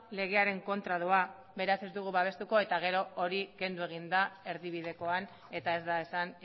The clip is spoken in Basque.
legearen kontra doa beraz ez dugu babestuko eta gero hori kendu egin da erdibidekoan eta ez da esan